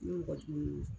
Ni mɔgɔ jugu